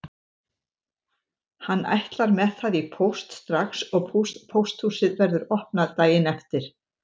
Hann ætlar með það í póst strax og pósthúsið verður opnað daginn eftir.